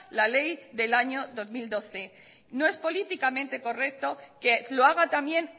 la ley del año dos mil doce no es políticamente correcto que lo haga también